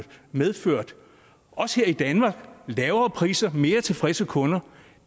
medført lavere priser og mere tilfredse kunder